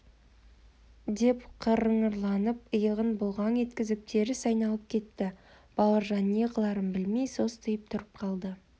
ыыы деп қыңырланып иығын бұлғаң еткізіп теріс айналып кетті бауыржан не қыларын білмей состиып тұрып қалды